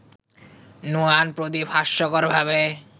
Nuwan Pradeep হাস্যকরভাবে